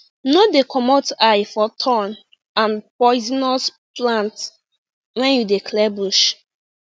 no dey comot eye for thorn and poisonous plant when you dey clear bush